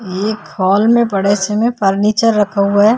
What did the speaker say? ये एक हॉल में बड़े से में फर्नीचर रखा हुआ है।